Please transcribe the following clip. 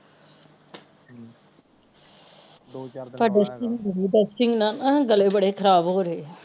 ਤੇ ਦੁਸਟਿੰਗ ਬੜੀ ਏ ਦੁਸਟਿੰਗ ਨਾਲ ਨਾ ਗਲੇ ਬੜੇ ਖ਼ਰਾਬ ਹੋ ਰਹੇ ਏ